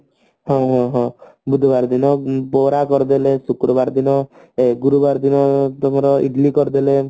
ହଁ ହଁ ହଁ ବୁଧବାର ଦିନ ବରା କରିଦେଲେ ଶୁକ୍ରବାର ଦିନ ଏ ଗୁରୁବାର ଦିନ ତମର ଇଡିଲି କରିଦେଲେ